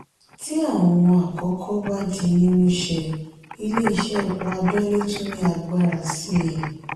tí àwọn àkókò bá di mímú ṣe ilé ìṣe epo abẹ́lé tún ní agbára sii.